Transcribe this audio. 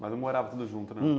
Mas não morava tudo junto, né?